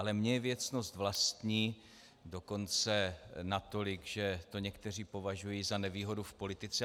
Ale mně je věcnost vlastní, dokonce natolik, že to někteří považují za nevýhodu v politice.